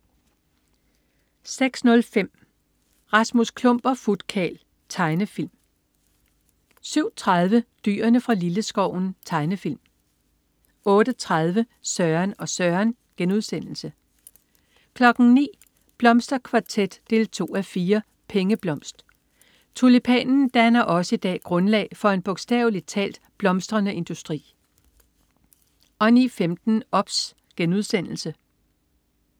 06.05 Rasmus Klump og Futkarl. Tegnefilm 07.30 Dyrene fra Lilleskoven. Tegnefilm 08.30 Søren og Søren* 09.00 Blomsterkvartet 2:4. Pengeblomst. Tulipanen danner også i dag grundlag for en bogstaveligt talt blomstrende industri 09.15 OBS*